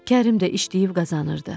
Kərim də işləyib qazanırdı.